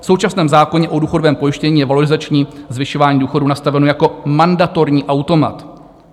V současném zákoně o důchodovém pojištění je valorizační zvyšování důchodů nastaveno jako mandatorní automat.